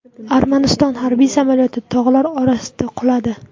Armaniston harbiy samolyoti tog‘lar orasiga quladi.